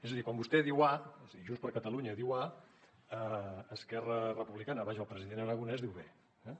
és a dir quan vostè diu a és a dir junts per catalunya diu a esquerra republicana vaja el president aragonès diu b eh